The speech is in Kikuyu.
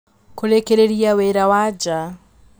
Kũrĩkĩrĩria wĩra wa nja.